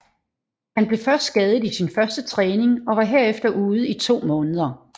Han blev skadet i sin første træning og var herefter ude i to måneder